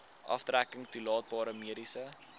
aftrekking toelaatbare mediese